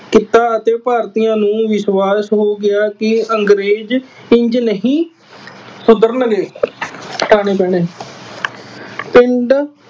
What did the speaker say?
ਕੀਤਾ ਅਤੇ ਭਾਰਤੀਆਂ ਨੂੰ ਵਿਸ਼ਵਾਸ਼ ਹੋ ਗਿਆ ਕਿ ਅੰਗਰੇਜ਼ ਇੰਝ ਨਹੀਂ ਸੁਧਰਨਗੇ। ਸੁਧਾਰਨੇ ਪੈਣੇ। ਪਿੰਡ